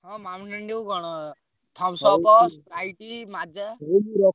ହଁ Mountain Dew କଣ Thumbs Up, Sprite, Maaza ।